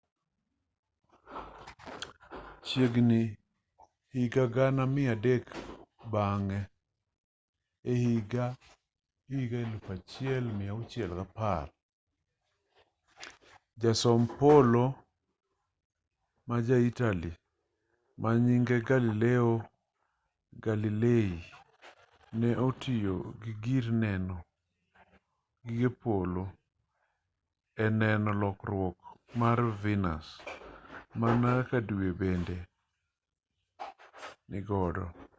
chiegini higa gana mia dek bang'e ehiga 1610 jasom polo ma ja italy manyinge galileo galilei ne otiyo gi gir neno gige polo e neno lokruok mar venus mana kaka due bende nigodo